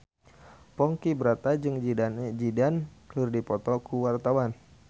Ponky Brata jeung Zidane Zidane keur dipoto ku wartawan